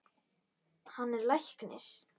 Hann er læknir.